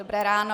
Dobré ráno.